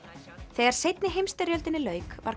þegar seinni heimsstyrjöldinni lauk var